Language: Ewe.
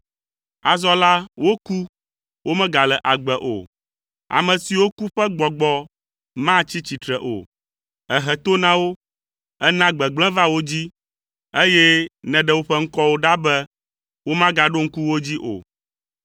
Azɔ la woku, womegale agbe o; ame siwo ku ƒe gbɔgbɔ matsi tsitre o; èhe to na wo, èna gbegblẽ va wo dzi, eye nèɖe woƒe ŋkɔwo ɖa be womagaɖo ŋku wo dzi o.